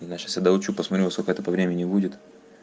не знаю сейчас я доучу посмотрю во сколько это по времени будет